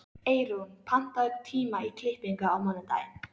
Eyrún, pantaðu tíma í klippingu á mánudaginn.